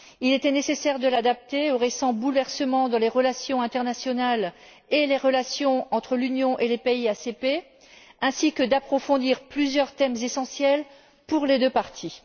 Il était nécessaire de l'adapter aux récents bouleversements dans les relations internationales et les relations entre l'Union et les pays ACP, ainsi que d'approfondir plusieurs thèmes essentiels pour les deux parties.